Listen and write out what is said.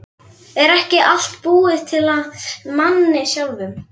Er ekki allt búið til af manni sjálfum?